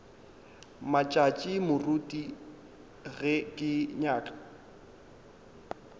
matšatši moruti ge ke nyaka